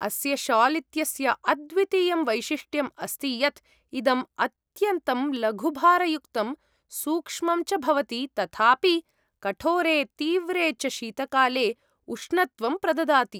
अस्य शाल् इत्यस्य अद्वितीयं वैशिष्ट्यम् अस्ति यत् इदम् अत्यन्तं लघुभारयुक्तं सूक्ष्मं च भवति, तथापि कठोरे तीव्रे च शीतकाले उष्णत्वं प्रददाति।